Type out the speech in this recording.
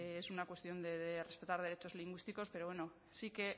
es una cuestión de respetar derechos lingüísticos pero bueno sí que